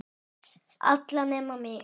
Alla nema mig.